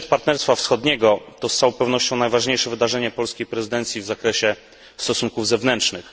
Szczyt Partnerstwa Wschodniego to z całą pewnością najważniejsze wydarzenie polskiej prezydencji w zakresie stosunków zewnętrznych.